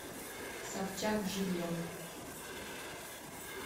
собчак живьем